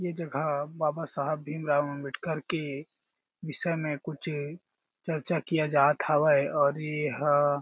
ए जगह बाबा साहेब भीम रॉव आंबेडकर के विषय में कुछ चर्चा किया जात हावय और एहा--